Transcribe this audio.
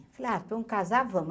Falei ah, vamos casar, vamos.